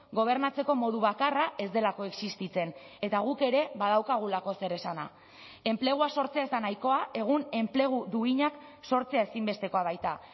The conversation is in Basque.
gobernatzeko modu bakarra ez delako existitzen eta guk ere badaukagulako zer esana enplegua sortzea ez da nahikoa egun enplegu duinak sortzea ezinbestekoa baita